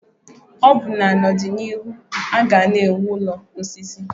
Ọbụna na ọdịnihu a ga na ewu ụlọ osisi.